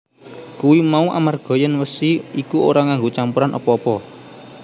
Kuwi mau amarga yèn wesi iku ora nganggo campuran apa apa